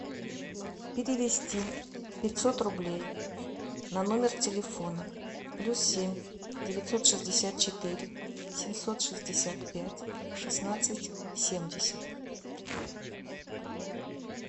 перевести пятьсот рублей на номер телефона плюс семь девятьсот шестьдесят четыре семьсот шестьдесят пять шестнадцать семьдесят